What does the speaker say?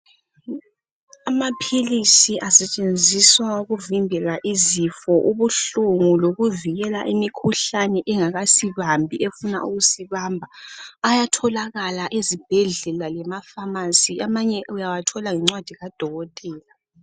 Amaphilisi asetshenziswa ukuvimbela izifo, ubuhlungu lokuvikela imikhuhlane engakasibambi efuna ukusibamba. Ayatholakala ezibhedlela lema famasi, amanye uyawathola ngencwadi kadokotela